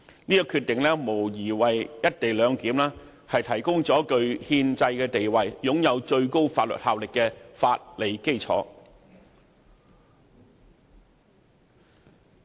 相關決定無疑為"一地兩檢"提供了具憲制地位並擁有最高法律效力的法理基礎。